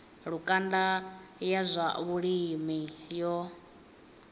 lukanda ya zwa vhulimi yo